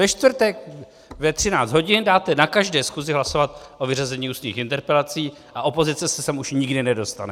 Ve čtvrtek ve 13 hodin dáte na každé schůzi hlasovat o vyřazení ústních interpelací a opozice se sem už nikdy nedostane.